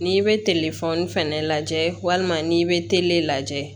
N'i bɛ fɛnɛ lajɛ walima n'i bɛ lajɛ